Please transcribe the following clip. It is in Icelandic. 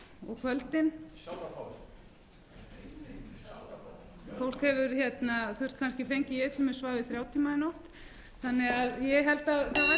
og kvöldin ég svaf til dæmis í þrjá tíma í nótt þannig að ég held að það væri